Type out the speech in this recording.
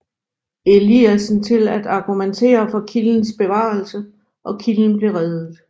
Eliassen til at argumentere for kildens bevarelse og kilden blev reddet